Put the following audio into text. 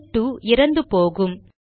shell 2 இறந்து போகும்